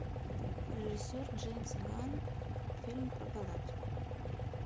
режиссер джеймс ганн фильм про галактику